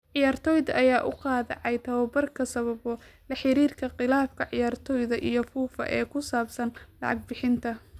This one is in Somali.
Ciyaartoyda ayaa u qaadacay tababarka sababo la xiriira khilaafka ciyaartoyda iyo Fufa ee ku saabsan lacag bixinta.